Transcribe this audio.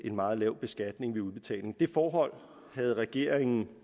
en meget lav beskatning ved udbetalingerne det forhold havde regeringen